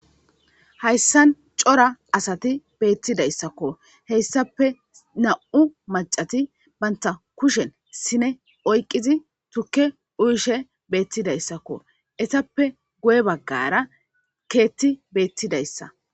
Hayssan cora asati beetizaysako hessape nam7u macasati bantta kushen sine oyqidi tukke uyishe beetidaysako,etappe guye baggara keeththi beettidsysako.